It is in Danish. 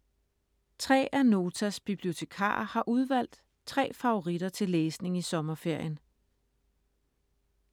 Tre af Notas bibliotekarer har udvalgt tre favoritter til læsning i sommerferien.